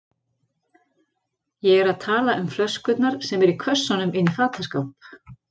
Ég er að tala um flöskurnar sem eru í kössunum inni í fataskáp.